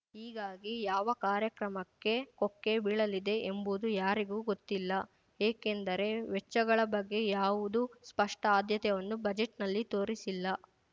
ಹೀಗಾಗಿ ಯಾವ ಕಾರ್ಯಕ್ರಮಕ್ಕೆ ಕೊಕ್ಕೆ ಬೀಳಲಿದೆ ಎಂಬುದು ಯಾರಿಗೂ ಗೊತ್ತಿಲ್ಲ ಏಕೆಂದರೆ ವೆಚ್ಚಗಳ ಬಗ್ಗೆ ಯಾವುದು ಸ್ಪಷ್ಟಆದ್ಯತೆವನ್ನು ಬಜೆಟ್‌ನಲ್ಲಿ ತೋರಿಸಿಲ್ಲ